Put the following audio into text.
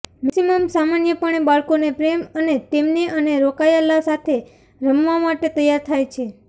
Maxim સામાન્યપણે બાળકોને પ્રેમ અને તેમને અને રોકાયેલા સાથે રમવા માટે તૈયાર થાય છે